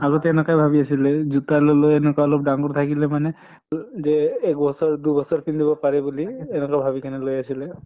আগতে এনকাই ভাবি আছিলে জোতা লʼলেও এনকা অলপ ডাঙৰ থাকিলে মানে অহ যে এক বছৰ দু বছৰ পিন্ধিব পাৰে বুলি এনকা ভাবি কেনে লৈ আছিলে